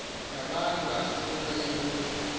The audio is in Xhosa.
ngabantu asinto ilula